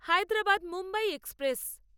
Hyderabad Mumbai express